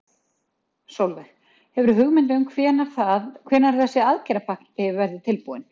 Sólveig: Hefurðu hugmynd um hvenær það, hvenær þessi aðgerðapakki verður tilbúinn?